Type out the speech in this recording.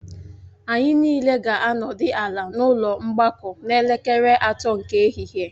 Anyị niile ga-anọdị ala n'ụlọ mgbakọ n'elekere atọ nke ehihie